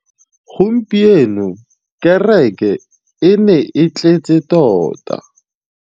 Gompieno kêrêkê e ne e tletse tota.